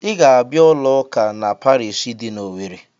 Ị ga-abịa ụlọ ụka na pariishi dị n'Owerre!